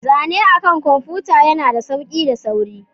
Zane akan kwamfuta yana da sauƙi da sauri.